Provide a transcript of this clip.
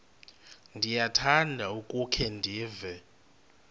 ndiyakuthanda ukukhe ndive